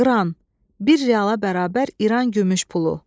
Qıran, bir reala bərabər İran gümüş pulu.